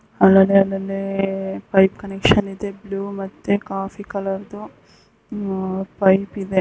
ಅಲ್ಲಲ್ಲಿ ಅಲ್ಲಲ್ಲಿ pipe connection ಇದೆ ಬ್ಲೂ ಮತ್ತೆ ಕಾಫೀ ಕಲರ್ ದು ಪೈಪ್ ಇದೆ.